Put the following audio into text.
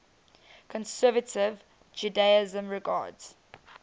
conservative judaism regards